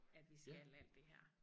At vi skal alt det her